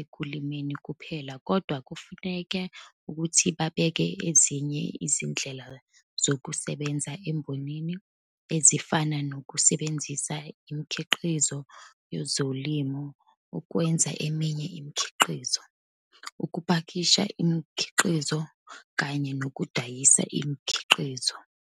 ekulimeni kuphela kodwa kufanele ukuthi babheke ezinye izindlela zokusebenza embonini ezifana nokusebenzisa imikhiqizo yezolimo ukwenza eminye imikhiqizo, ukupakisha imikhiqizo, kanye nokudayisa imikhiqizo.